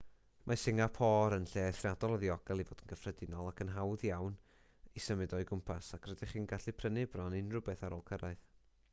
mae singapôr yn lle eithriadol o ddiogel i fod yn gyffredinol ac yn hawdd iawn i symud o'i gwmpas ac rydych chi'n gallu prynu bron unrhyw beth ar ôl cyrraedd